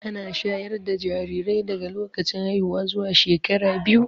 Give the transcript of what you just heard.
Ana shayar da jarirai daga lokacin haihuwa zuwa shekara biyu